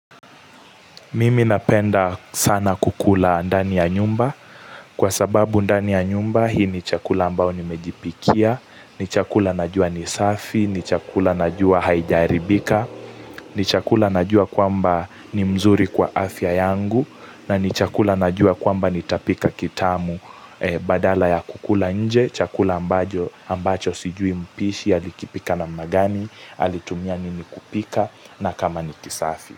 Mimi napenda sana kukula ndani ya nyumba kwa sababu ndani ya nyumba hii ni chakula ambao nimejipikia, ni chakula najua nisafi, ni chakula najua haijaaribika, ni chakula najua kwamba ni mzuri kwa afya yangu na ni chakula najua kwamba nitapika kitamu badala ya kukula nje, chakula ambacho sijui mpishi, alikipika na magani, alitumia nini kupika na kama nikisafi.